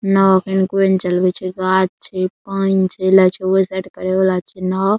नाव एखन कोय ने चलवे छै गाछ छै पेएन छै लागे छै ओय साइड करे वाला छै नाव।